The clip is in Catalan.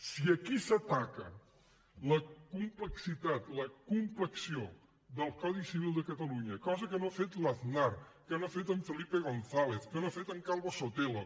si aquí s’ataca la complexitat la complexió del codi civil de catalunya cosa que no ha fet l’aznar que no ha fet en felipe gonzález que no ha fet en calvo sotelo